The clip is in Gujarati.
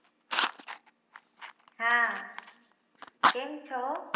હા કેમ છો